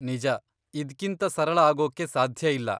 ನಿಜ, ಇದ್ಕಿಂತ ಸರಳ ಆಗೋಕ್ಕೆ ಸಾಧ್ಯ ಇಲ್ಲ.